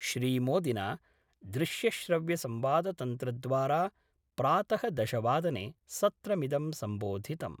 श्रीमोदिना दृश्यश्रव्यसंवादतन्त्रद्वारा प्रातः दशवादने सत्रमिदं सम्बोधितम्।